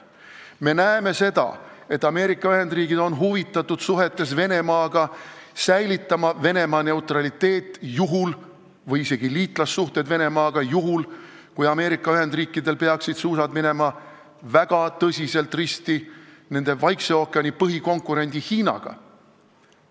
Me näeme seda, et Ameerika Ühendriigid on suhetes Venemaaga huvitatud sellest, et säilitada Venemaa neutraliteet või isegi liitlassuhted Venemaaga juhuks, kui Ameerika Ühendriikidel peaksid suusad minema väga tõsiselt risti nende Vaikse ookeani põhikonkurendi Hiinaga.